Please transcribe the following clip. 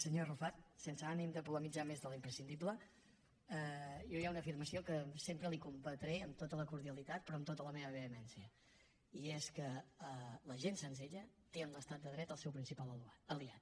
senyor arrufat sense ànim de polemitzar més de l’imprescindible jo hi ha una afirmació que sempre li combatré amb tota la cordialitat però amb tota la meva vehemència i és que la gent senzilla té en l’estat de dret el seu principal aliat